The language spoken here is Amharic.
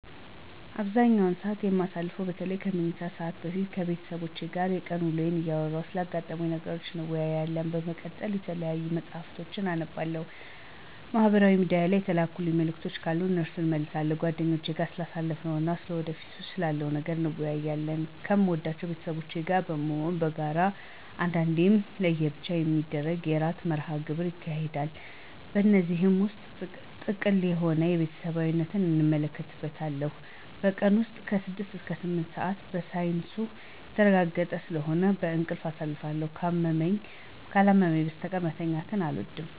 አብዛኛውን ሰዓት የማሳልፈው በተለይም ከመኝታ ሰዓት በፊት ከቤተሰቦቼ ጋር የቀን ውሎየን እያወራን ስላጋጠሙኝ ነገሮች እንወያያለን። በመቀጠልም የተለያዩ መፅሀፍቶችን አነባለሁ፤ ማህበራዊ ሚድያ የተላኩ መልዕክቶች ካሉ እነሱን እመልሳለሁ። ከጓደኞቼም ጋር ስላለፈው እና ወደፊት ስላለው ነገር እንወያያለን። ከምወዳቸው ቤተሰቦቼ ጋር በመሆን በጋራ አንዳንዴም ለየብቻ የሚገርም የዕራት መርሀ ግብር እናካሂዳለን። በዚህ ውስጥ ጥልቅ የሆነ ቤተሰባዊነትን እመለከትበታለሁ። በቀን ውስጥ ከ6 እስከ 8 ሰዓት በሳይንሱ የተረጋገጠ ስለሆነ በእንቅልፍ አሳልፋለሁ። ካላመመኝ በስተቀር ቀን መተኛት አልወድም።